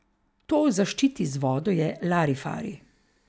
To o zaščiti z vodo je larifari.